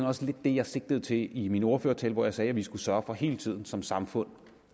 også det jeg sigtede til i min ordførertale hvor jeg sagde at vi skulle sørge for hele tiden som samfund